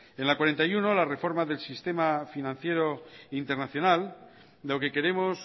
en la cuarenta y uno la reforma del sistema financiero internacional lo que queremos